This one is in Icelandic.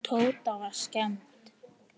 Tóta var skemmt.